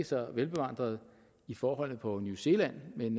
så velbevandret i forholdene på new zealand men